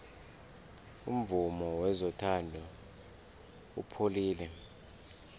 umvumo wezothando upholile